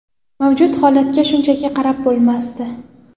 Mavjud holatga shunchaki qarab bo‘lmasdi.